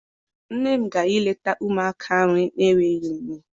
Nne m gara I leta ụmụaka ahụ n'enweghị nne.